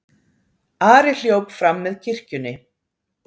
Ari hljóp fram með kirkjunni.